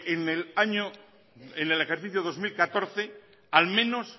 en el ejercicio dos mil catorce al menos